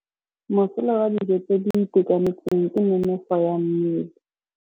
Mosola wa dijô tse di itekanetseng ke nonôfô ya mmele.